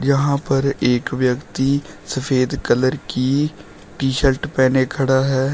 यहां पर एक व्यक्ति सफेद कलर की टी शर्ट पहने खड़ा है।